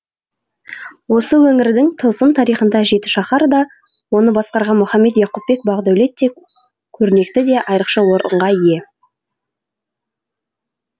осы өңірдің тылсым тарихында жетішаһар да оны басқарған мұхаммед яқупбек бақдәулет те көрнекті де айрықша орынға ие